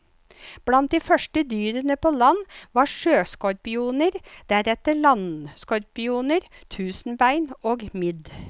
Blant de første dyrene på land var sjøskorpioner deretter landskorpioner, tusenbein og midd.